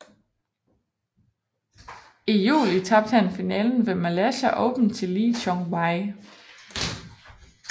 I juli tabte han finalen ved Malaysia Open til Lee Chong Wei